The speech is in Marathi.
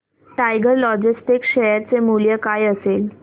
टायगर लॉजिस्टिक्स शेअर चे मूल्य काय असेल